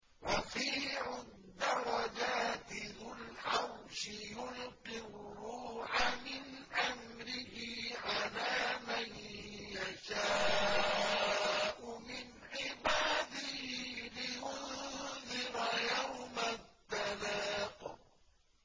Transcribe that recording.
رَفِيعُ الدَّرَجَاتِ ذُو الْعَرْشِ يُلْقِي الرُّوحَ مِنْ أَمْرِهِ عَلَىٰ مَن يَشَاءُ مِنْ عِبَادِهِ لِيُنذِرَ يَوْمَ التَّلَاقِ